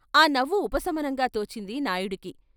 ఆ నవ్వు ఉపశమనంగా తోచింది నాయుడికి.